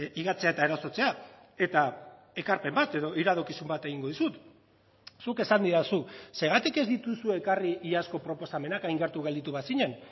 higatzea eta erasotzea eta ekarpen bat edo iradokizun bat egingo dizut zuk esan didazu zergatik ez dituzu ekarri iazko proposamenak hain gertu gelditu bazinen